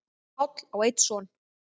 Páll á einn son.